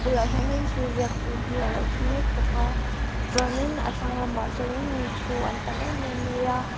bulah hianin thil ziak tu hi a lo thu mek bawk a tichuanin a thlang lamah sawnin min thu an tam em em mai a.